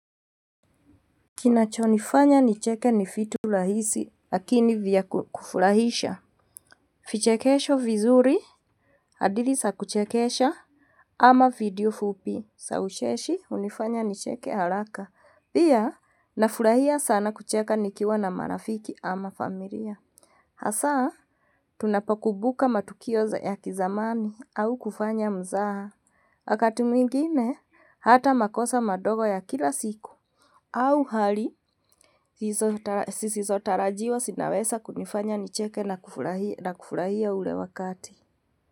Kinacho nifanya nicheke nifitu lahisi, lakini vya kufulahisha. Fichekesho vizuri, hadili sa kuchekesha, ama video fupi, sa uchechi unifanya nicheke alaka. Bia, na fulahia sana kucheke nikiwa na marafiki ama familia. Hasaa, tunapakubuka matukioza ya kizamani, awu kufanya muzaa. Akati mwingine, hata makosa madogo ya kila siku. Awu hali, sisi sotarajiwa sinabesa kunifanya nicheke na kufulahia ule wakati.